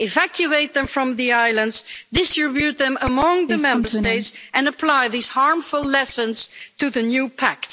Evacuate them from the islands, distribute them among the Member States and apply these harmful lessons to the new pact.